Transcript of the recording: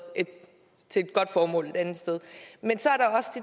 til et godt formål et andet sted men så